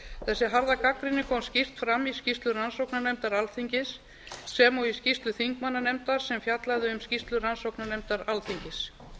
þessi harða gagnrýni kom skýrt fram í skýrslu rannsóknarnefndar alþingis sem og í skýrslu þingmannanefndar sem fjallaði um skýrslu rannsóknarnefndar alþingis